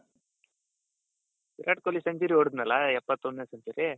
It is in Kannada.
ವಿರಾಟ್ ಕೊಹ್ಲಿ century ಹೋಡ್ದ್ನಲ್ಲ ಎಪ್ಪತ್ತೊಂದನೆ century